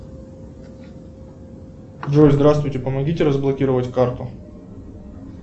джой здравствуйте помогите разблокировать карту